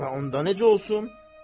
Və onda necə olsun?